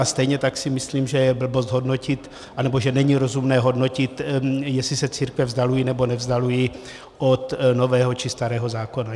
A stejně tak si myslím, že je blbost hodnotit, anebo že není rozumné hodnotit, jestli se církve vzdalují nebo nevzdalují od Nového či Starého zákona.